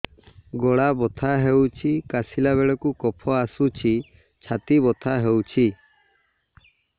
ଗଳା ବଥା ହେଊଛି କାଶିଲା ବେଳକୁ କଫ ଆସୁଛି ଛାତି ବଥା ହେଉଛି